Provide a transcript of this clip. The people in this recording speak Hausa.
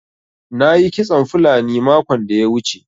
Na yi kitson fulani makon da ya wuce.